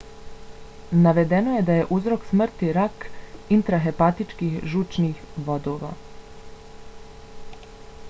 navedeno je da je uzrok smrti rak intrahepatičkih žučnih vodova